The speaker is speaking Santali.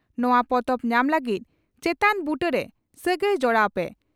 ᱱᱚᱣᱟ ᱯᱚᱛᱚᱵ ᱧᱟᱢ ᱞᱟᱹᱜᱤᱫ ᱪᱮᱛᱟᱱ ᱵᱩᱴᱟᱹᱨᱮ ᱥᱟᱹᱜᱟᱹᱭ ᱡᱚᱲᱟᱣ ᱯᱮ ᱾